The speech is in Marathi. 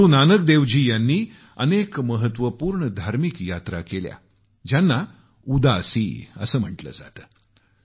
गुरुनानक देवजी यांनी अनेक महत्वपूर्ण धार्मिक यात्रा केल्या ज्यांना उदासी असं म्हटलं जातं